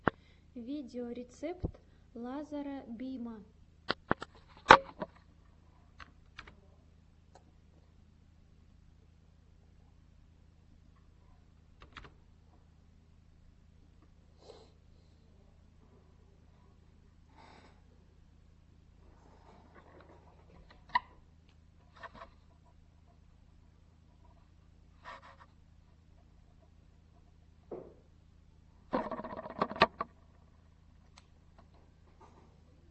видеорецепт лазара бима